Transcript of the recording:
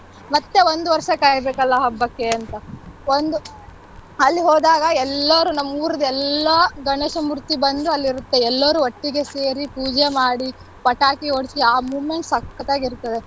ಮತ್ತೆ ಒಂದ್ ವರ್ಷ ಕಾಯ್ಬೇಕಲ ಹಬ್ಬಕ್ಕೆ ಅಂತ ಒಂದು ಅಲ್ಲಿ ಹೋದಾಗ ಎಲ್ಲರೂ ನಮ್ಮ್ ಊರ್ದ್ ಎಲ್ಲ ಗಣೇಶ ಮೂರ್ತಿ ಬಂದು ಅಲ್ಲಿರುತ್ತೆ ಎಲ್ಲಾರು ಒಟ್ಟಿಗೆ ಸೇರಿ ಪೂಜೆ ಮಾಡಿ ಪಟಾಕಿ ಹೊಡ್ಸಿ ಆ movement ಸಕ್ಕತ್ತಾಗಿ ಇರ್ತದೆ.